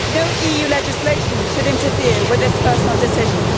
No EU legislation should interfere with this personal decision.